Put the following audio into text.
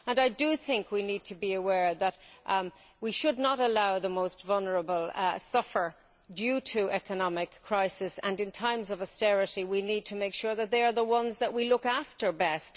I think we need to be aware that we should not allow the most vulnerable to suffer due to economic crisis, and in times of austerity we need to make sure that they are the ones that we look after best.